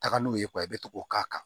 Taga n'u ye i bɛ to k'o k'a kan